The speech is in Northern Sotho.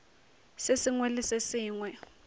se sengwe le se sengwe